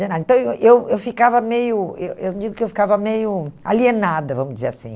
Então, eu eu ficava meio... Eu eu digo que eu ficava meio alienada, vamos dizer assim.